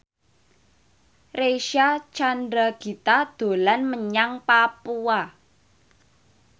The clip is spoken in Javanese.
Reysa Chandragitta dolan menyang Papua